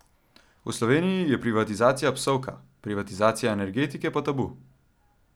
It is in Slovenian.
V Sloveniji je privatizacija psovka, privatizacija energetike pa tabu.